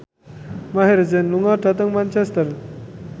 Maher Zein lunga dhateng Manchester